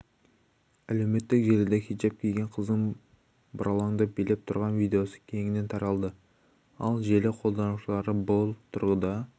әлеуметтік желіде хиджап киген қыздың бұралаңдап билеп тұрған видеосы кеңінен таралды ал желі қолданушылары бұл тұрғыда